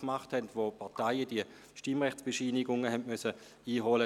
Damals mussten die Parteien die Stimmrechtsbescheinigungen einholen.